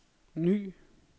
ny